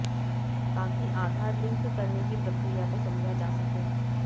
ताकि आधार लिंक करने की प्रक्रिया को समझा जा सके